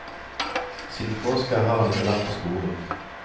Siden påske har han ikke vært på skolen.